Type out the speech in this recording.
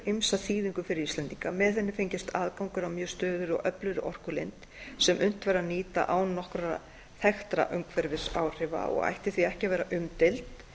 ýmsa þýðingu fyrir íslendinga með henni fengist aðgangur að mjög stöðugri og öflugri orkulind sem unnt væri að nýta án nokkurra þekktra umhverfisáhrifa og ætti því ekki að verða umdeild